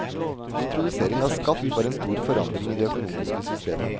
Introdusering av skatt var en stor forandring i det økonomiske systemet.